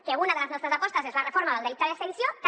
que una de les nostres apostes és la reforma del delicte de sedició també